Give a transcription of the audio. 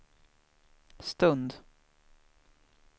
stund